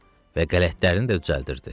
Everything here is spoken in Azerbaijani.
Və qələtlərini də düzəldirdi.